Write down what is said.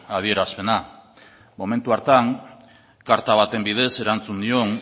adierazpena momentu hartan karta baten bidez erantzun nion